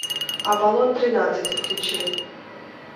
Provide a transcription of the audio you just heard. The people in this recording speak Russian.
аполлон тринадцать включи